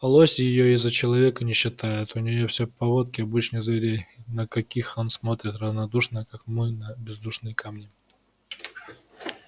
лось её и за человека не считает у неё все повадки обычных зверей на каких он смотрит равнодушно как мы на бездушные камни